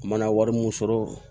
Mana wari mun sɔrɔ